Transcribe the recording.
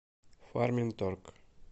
фарминторг